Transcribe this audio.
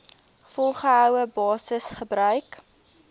volgehoue basis gebruik